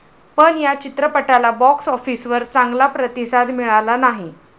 पण या चित्रपटाला बॉक्स ऑफिसवर चांगला प्रतिसाद मिळाला नाही.